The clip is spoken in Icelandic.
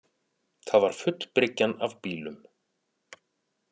Það var full bryggjan af bílum